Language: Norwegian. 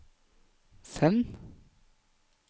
send